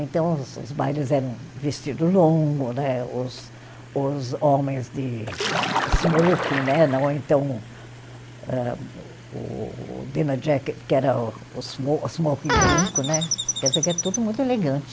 Então os os bailes eram vestido longo né, os os homens de eh smoking né, não é então eh o o dinner jacket, que era o smo, smoking branco né, quer dizer que era tudo muito elegante.